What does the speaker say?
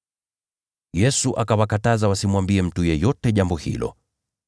Yesu akawakataza wasimwambie mtu yeyote jambo hilo.